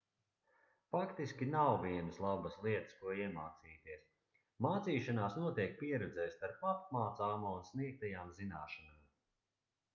faktiski nav vienas labas lietas ko iemācīties mācīšanās notiek pieredzē starp apmācāmo un sniegtajām zināšanām